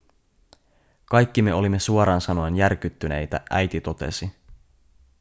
kaikki me olimme suoraan sanoen järkyttyneitä äiti totesi